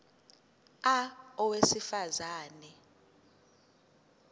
a owesifaz ane